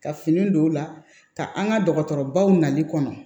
Ka fini don u la ka an ka dɔgɔtɔrɔbaw nali kɔnɔ